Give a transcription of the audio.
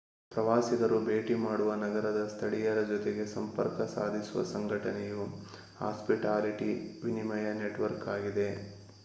ಪ್ರವಾಸಿಗರು ಭೇಟಿ ಮಾಡುವ ನಗರದ ಸ್ಥಳೀಯರ ಜೊತೆಗೆ ಸಂಪರ್ಕ ಸಾಧಿಸುವ ಸಂಘಟನೆಯು ಹಾಸ್ಪಿಟಾಲಿಟಿ ವಿನಿಯಮ ನೆಟ್‌ವರ್ಕ್‌ ಆಗಿದೆ